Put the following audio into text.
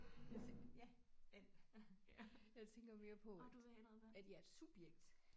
Jeg tænk ja øh. Jeg tænker mere på at jeg er et subjekt